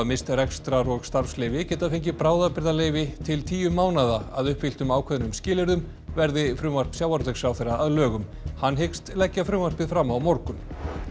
misst rekstrar og starfsleyfi geta fengið bráðabirgðarleyfi til tíu mánaða að uppfylltum ákveðnum skilyrðum verði frumvarp sjávarútvegsráðherra að lögum hann hyggst leggja frumvarpið fram á morgun